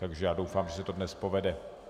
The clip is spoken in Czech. Takže já doufám, že se to dnes povede.